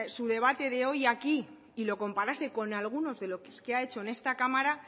su debate de hoy aquí y lo comparase con algunos de los que ha hecho en esta cámara